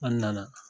An nana